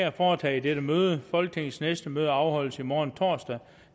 at foretage i dette møde folketingets næste møde afholdes i morgen torsdag